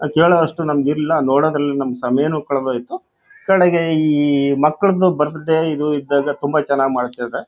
ಕೇಳುವಷ್ಟು ನಮ್ಮಗೆ ಇಲ್ಲಾ ನೋಡದ್ರಲ್ಲಿ ನಮ್ಮ ಸಮಯನು ಕಳೆದು ಹೋಯಿತ್ತು.ಕಡೆಗೆ ಈಈ ಮಕ್ಕಳದು ಬರ್ತ್ಡೇ ಇದು ಇದ್ದಾಗ ತುಂಬಾ ಚೆನ್ನಾಗಿ ಮಾಡತ್ತಾರೆ.